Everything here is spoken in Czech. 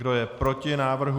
Kdo je proti návrhu?